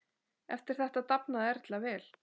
Eftir þetta dafnaði Erla vel.